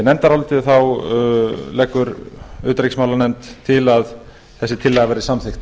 nefndarálitið leggur utanríkismálanefnd til að þessi tillaga verði samþykkt